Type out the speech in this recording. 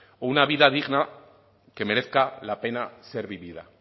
una vida digna que merezca la pena ser vivida